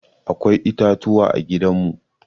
Akwai itatuwa a gidan mu.